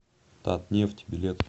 татнефть билет